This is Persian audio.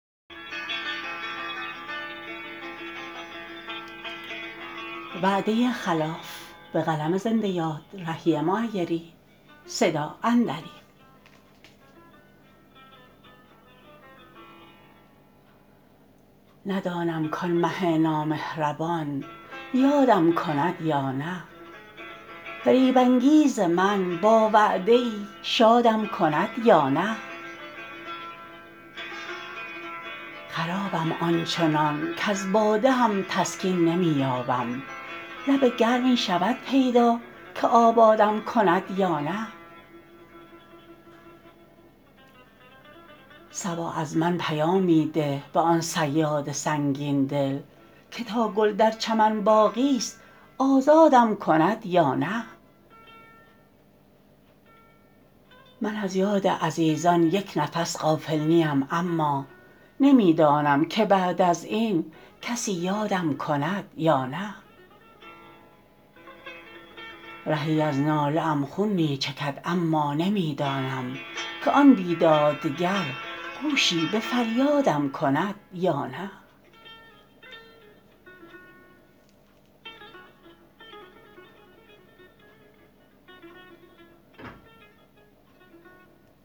ندانم کان مه نامهربان یادم کند یا نه فریب انگیز من با وعده ای شادم کند یا نه خرابم آنچنان کز باده هم تسکین نمی یابم لب گرمی شود پیدا که آبادم کند یا نه صبا از من پیامی ده به آن صیاد سنگین دل که تا گل در چمن باقی است آزادم کند یا نه من از یاد عزیزان یک نفس غافل نیم اما نمی دانم که بعد از این کسی یادم کند یا نه رهی از ناله ام خون می چکد اما نمی دانم که آن بیدادگر گوشی به فریادم کند یا نه